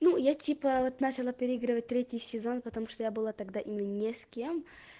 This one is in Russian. ну я типа начало переигрывать третий сезон потому что я была тогда именно не с кем